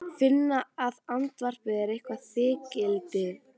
Finna að andvarpið er eitthvert þykkildi.